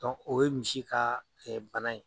o ye misi ka bana ye.